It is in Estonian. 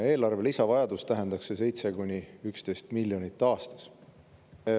Eelarve lisavajadus tähendaks 7 miljonit kuni 11 miljonit aastas.